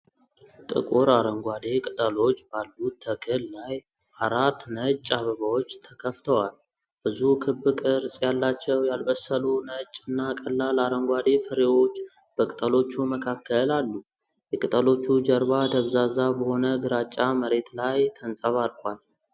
ጥቁር አረንጓዴ ቅጠሎች ባሉት ተክል ላይ፣ አራት ነጭ አበባዎች ተከፍተዋል። ብዙ ክብ ቅርጽ ያላቸው ያልበሰሉ ነጭ እና ቀላል አረንጓዴ ፍሬዎች በቅጠሎቹ መካከል አሉ። የቅጠሎቹ ጀርባ ደብዛዛ በሆነ ግራጫ መሬት ላይ ተንጸባርቋል።